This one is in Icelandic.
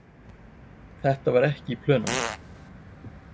Þetta var ekki í plönunum.